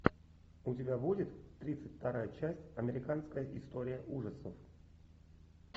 у тебя будет тридцать вторая часть американская история ужасов